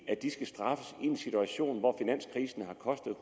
at de skal straffes i en situation hvor finanskrisen har kostet